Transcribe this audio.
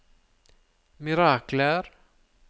mirakler